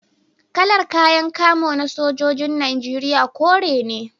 Kalar kayan kamo na sojojin Najeriya kore ne